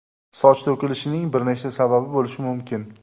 Soch to‘kilishining bir necha sababi bo‘lishi mumkin.